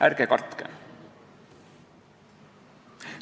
Ärge kartke!